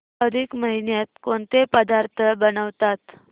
अधिक महिन्यात कोणते पदार्थ बनवतात